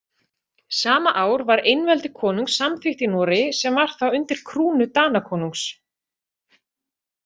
Sama ár var einveldi konungs samþykkt í Noregi sem var þá undir krúnu Danakonungs.